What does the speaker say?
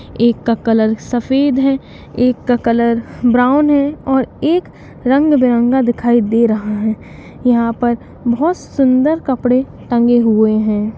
एक का कलर सफेद है एक का कलर ब्राउन है और एक रंग बिरंगा दिखाई दे रहा है | यहाँ पर बहुत सुंदर कपड़े टंगे हुए हैं।